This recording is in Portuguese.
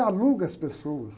Você aluga as pessoas.